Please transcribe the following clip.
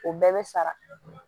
O bɛɛ bɛ sara